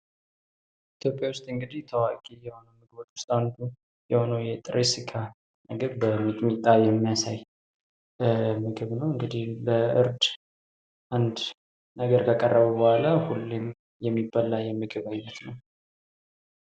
ኢትዮጵያ ውስጥ እንግዲህ ታዋቂ ከሆኑ ምግቦች አንዱ የሆነው የጥሬ ስጋ ምግብ በሚጥሚጣ የሚያሳይ ምግብ ነው። እንግዲህ በእርድ አንድ ነገር ከቀረበ በኋላ ሁሌም የሚበላ የምግብ ዓይነት ነው።